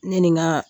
Ne ni n ka